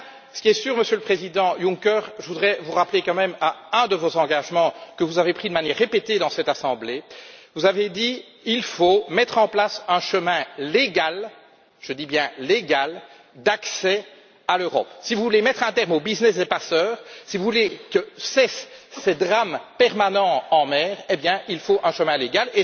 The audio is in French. En tout cas, Monsieur le Président Juncker, je voudrais vous rappeler à un de vos engagements que vous avez pris de manière répétée devant cette assemblée vous avez dit qu'il faut mettre en place un chemin légal je dis bien légal d'accès à l'Europe. Si vous voulez mettre un terme au business des passeurs, si vous voulez que cessent ces drames permanents en mer, il faut un chemin légal.